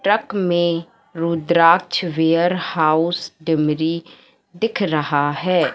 Truck में Rudraksh warehouse टीमरी दिख रहा है।